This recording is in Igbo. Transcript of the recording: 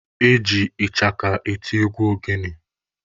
Eji ịchaka eti egwu ogene.